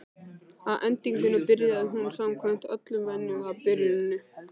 Að endingu byrjaði hún samkvæmt öllum venjum á byrjuninni.